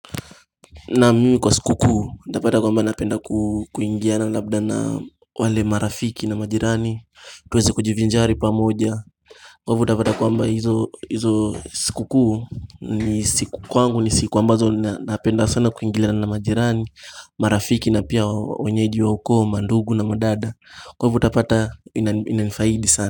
Naam, mimi kwa sikukuu, nitapata kwamba napenda kuingiana labda na wale marafiki na majirani tuweze kujivinjari pamoja. Kwa hivo utapata kwamba hizo sikukuu ni siku kwangu ni siku ambazo napenda sana kuingiana na majirani marafiki na pia wenyeji wa huko, mandugu na madada Kwa hivyo utapata ina nifaidi sana.